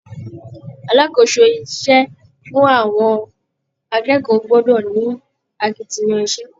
Alákòóso iṣẹ́ fún àwọn akẹ́kọ̀ọ́ gbọ́dọ̀ ni akitiyan iṣẹ́